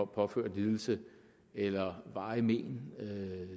påført lidelse eller varige